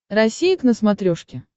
россия к на смотрешке